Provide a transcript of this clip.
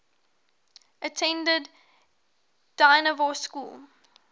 attended dynevor school